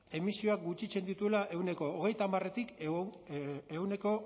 emisioak gutxitzen dituela ehuneko hogeita hamarretik ehuneko